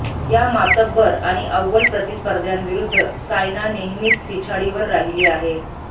या मातब्बर आणि अव्वल प्रतिस्पध्र्याविरुद्ध सायना नेहमीच पिछाडीवर राहिली आहे